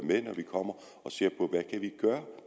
og